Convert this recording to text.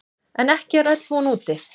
En ekki er öll von úti.